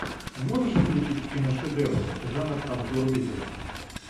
можешь включить киношедевр жанр обзор видео